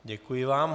Děkuji vám.